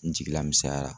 N jigila misɛnyara